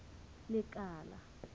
lekala